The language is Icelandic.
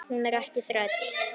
Hún er ekki þræll.